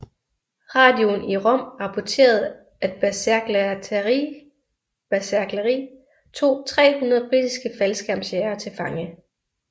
Radioen i Rom rapporterede at Bersaglieri tog 300 britiske faldskærmsjægere til fange